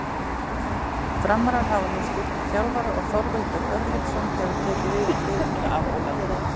Framarar hafa nú skipt um þjálfara og Þorvaldur Örlygsson hefur tekið við liðinu af Ólafi.